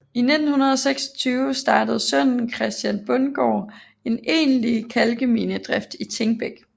I 1926 startede sønnen Christian Bundgaard en egentlig kalkminedrift i Thingbæk